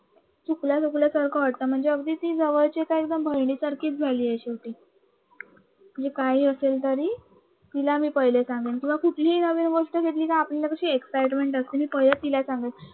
चुकल्या चुकल्यासारखं वाटतं म्हणजे अगदी ती एकदम अशी बहिणीसारखी झाली आहे शेवटी ते काही असेल तरी तिला मी पहिले सांगून कुठली नवीन गोष्ट घडली की कस आपल्याला एक एक्साइटमेंट सते. मी पहिला तिला सांगेल